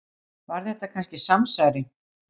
Var þetta kannski samsæri?